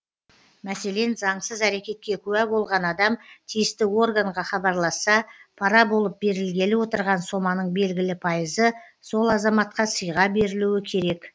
мәселен заңсыз әрекетке куә болған адам тиісті органға хабарласса пара болып берілгелі отырған соманың белгілі пайызы сол азаматқа сыйға берілуі керек